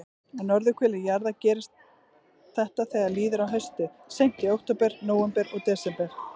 Á norðurhveli jarðar gerist þetta þegar líður á haustið, seint í október, nóvember og desember.